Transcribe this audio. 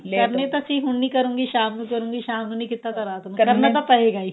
ਕਰਨੇ ਤਾਂ ਸੀ ਹੁਣ ਨੀ ਕਰੂੰਗੀ ਸ਼ਾਮ ਨੂੰ ਕਰੂੰਗੀ ਸ਼ਾਮ ਨੂੰ ਨਹੀਂ ਕੀਤਾ ਤਾਂ ਰਾਤ ਨੂੰ ਕਰਨਾ ਤਾਂ ਪਏਗਾ ਹੀ